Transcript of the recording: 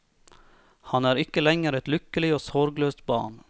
Han er ikke lenger et lykkelig og sorgløst barn.